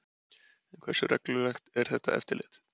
En hversu reglulegt er þetta eftirlit?